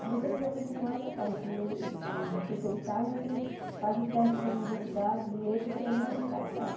Se você quiser continuar, aí você faz o primeiro o terceiro estágio aí você faz o teste para a universidade de letras, você entra e não paga nada.